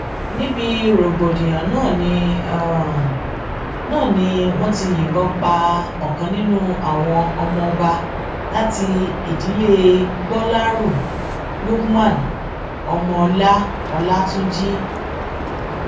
níbi rògbòdìyàn náà ni náà ni wọn ti yìnbọn pa ọkan nínú àwọn ọmọọba láti ìdílé gbolérù lukman ọmọọlá ọlátúnjì